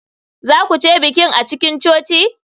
Za ku je bikin a cikin coci?